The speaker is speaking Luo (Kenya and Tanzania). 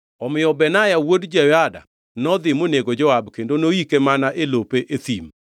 Omiyo Benaya wuod Jehoyada nodhi monego Joab kendo noyike mana e lope e thim.